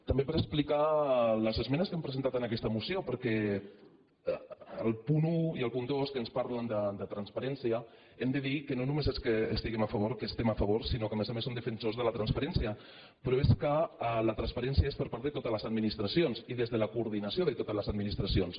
també per explicar les esmenes que hem presentat en aquesta moció perquè al punt un i al punt dos que ens parlen de transparència hem de dir que no només és que hi estem a favor que hi estem a favor sinó que a més a més som defen·sors de la transparència però és que la transparència és per part de totes les administracions i des de la co·ordinació de totes les administracions